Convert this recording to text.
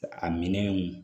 A minɛnw